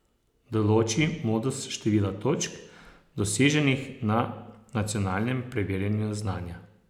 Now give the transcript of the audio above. Določi modus števila točk, doseženih na nacionalnem preverjanju znanja.